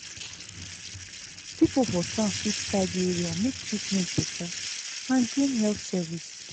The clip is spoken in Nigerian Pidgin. people for town fit tidy area make treatment better and gain health service.